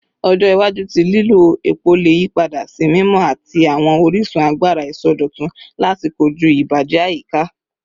Ọjọ iwaju ti lilo epo le yipada si mimọ ati awọn orisun agbara isọdọtun lati koju ibajẹ ayika